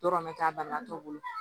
Dɔrɔn bɛ k'a banabaatɔ bolo